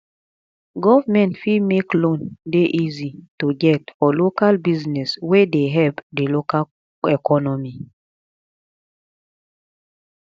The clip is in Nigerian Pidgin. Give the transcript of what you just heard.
government fit make loan dey easy to get for local business wey dey help di local economy